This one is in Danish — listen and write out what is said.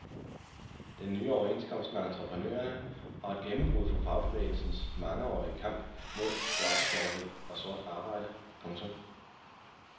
Den nye overenskomst med entreprenørerne er et gennembrud for fagbevægelsens mangeårige kamp mod dobbeltjobberi og sort arbejde. punktum